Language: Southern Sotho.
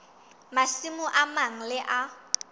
masimo a mang le a